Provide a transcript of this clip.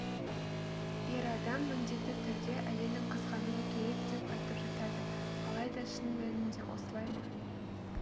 ер адам міндетті түрде әйелін қызғануы керек деп айтып жатады алайда шын мәнінде осылай ма